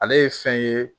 Ale ye fɛn ye